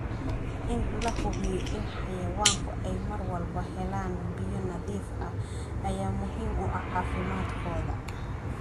In la hubiyo in xayawaanku ay mar walba helaan biyo nadiif ah ayaa muhiim u ah caafimaadkooda.